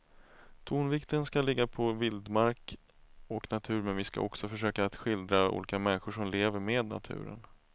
Tonvikten ska ligga på vildmark och natur men vi ska också försöka att skildra olika människor som lever med naturen.